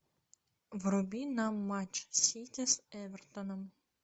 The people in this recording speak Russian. вруби нам матч сити с эвертоном